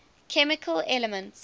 chemical elements